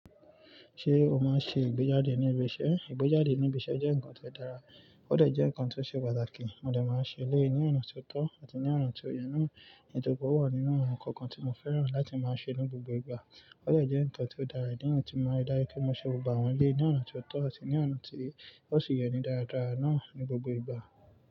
Ṣé o máa ń ṣe ìgbéjáde ní ibi iṣẹ́? Ìgbéjáde ní ibi iṣẹ́ jẹ́ nǹkan tó dára. Ó dà jẹ́ nǹkan tó ṣe pàtàkì. Mọ de máa ń ṣe eléyìí ní ọ̀nà tó tọ́ àti ní ọ̀nà tí o yẹ́ náà. Nítorípé ò wà nínú àwọn nkan kàn tí mọ fẹ́ràn láti máa ṣe ní gbogbo ìgbà. Ó dé jẹ́ nǹkan tí ó dára ìdí ní yìí ti mári dájú pé mọ ṣe gbogbo àwọn eléyìí ní ọ̀nà tí ó tọ́ àti ní ọ̀nà tó ṣì yẹ́ ní dáradára náà ní gbogbo ìgbà.